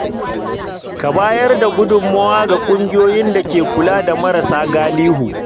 Ka bayar da gudummawa ga kungiyoyin da ke kula da marasa galihu.